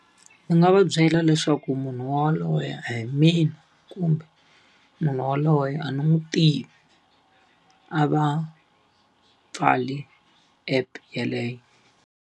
Ni nga va byela leswaku munhu yaloye a hi mina kumbe, munhu yaloye a ni n'wi tivi. A va pfali app yeleyo.